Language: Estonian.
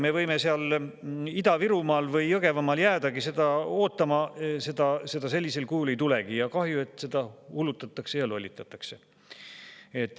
Me võime seal Ida-Virumaal või Jõgevamaal jäädagi seda ootama, seda sellisel kujul ei tule, ja kahju, et meid sellega hullutatakse ja lollitatakse.